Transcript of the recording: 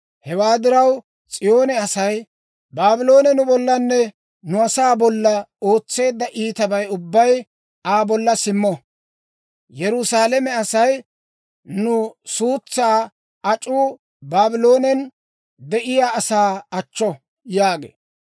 Hewaa diraw, S'iyoone asay, «Baabloone nu bollanne nu asaa bolla ootseedda iitabay ubbay Aa bolla simmo.» Yerusaalame asay, «Nu suutsaa ac'uu Baabloonen de'iyaa asaa achcho» yaagee.